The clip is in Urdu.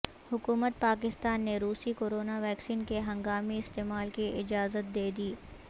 حکومت پاکستان نے روسی کورونا ویکسین کے ہنگامی استعمال کی اجازت دیدی